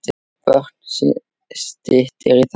Björn: Styttist í það?